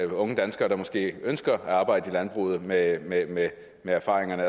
unge danskere der måske ønsker at arbejde i landbruget med erfaringerne